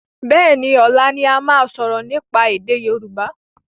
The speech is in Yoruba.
Béení, ọlá ni a máa sọ̀rọ̀ nípa èdè Yorùbá